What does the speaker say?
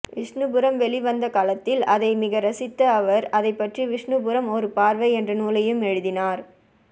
விஷ்ணுபுரம் வெளிவந்த காலத்தில் அதை மிக ரசித்த அவர் அதைப்பற்றி விஷ்ணுபுரம் ஒரு பார்வை என்ற நூலையும் எழுதினார்